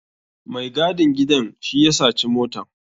Mai gadin gidan shi ya saci motan.